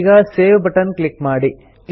ಈಗ save button click ಮಾಡಿ